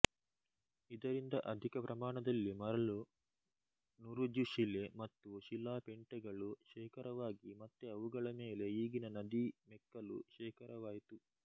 ಇದರಿಂದ ಅಧಿಕ ಪ್ರಮಾಣದಲ್ಲಿ ಮರಳು ನುರುಜುಶಿಲೆ ಮತ್ತು ಶಿಲಾಪೆಂಟೆಗಳು ಶೇಖರವಾಗಿ ಮತ್ತೆ ಅವುಗಳ ಮೇಲೆ ಈಗಿನ ನದೀ ಮೆಕ್ಕಲು ಶೇಖರವಾಯಿತು